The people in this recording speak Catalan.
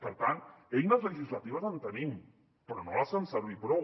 per tant eines legislatives en tenim però no les fem servir prou